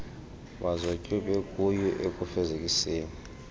bazotywe bekuyo ekufezekiseni